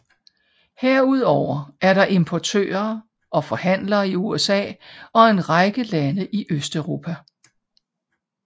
Herudover er der importører og forhandlere i USA og en række lande i Østeuropa